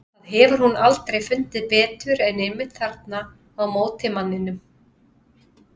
Það hefur hún aldrei fundið betur en einmitt þarna á móti manninum.